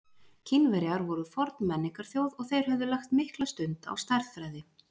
kínverjar voru forn menningarþjóð og þeir höfðu lagt mikla stund á stærðfræði